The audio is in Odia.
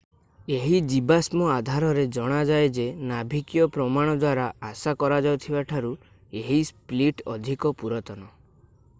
ଏହି ଜୀବାଶ୍ମ ଆଧାରରେ ଜଣାଯାଏ ଯେ ନାଭିକୀୟ ପ୍ରମାଣ ଦ୍ୱାରା ଆଶା କରାଯାଉଥିବା ଠାରୁ ଏହି ସ୍ପ୍ଲିଟ୍ ଅଧିକ ପୁରାତନ